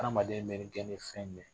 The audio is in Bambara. Adamaden mɛ gɛn ni fɛn jumɛn ye ?